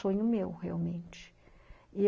É um sonho meu, realmente. E